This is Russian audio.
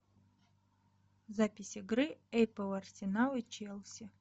запись игры апл арсенал и челси